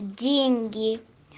деньги